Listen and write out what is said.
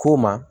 K'o ma